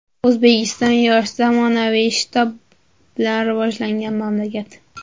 O‘zbekiston yosh, zamonaviy va shitob bilan rivojlanayotgan mamlakat.